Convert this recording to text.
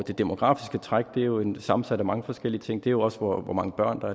det demografiske træk er jo sammensat af mange forskellige ting det er jo også hvor hvor mange børn der